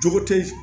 Jogo te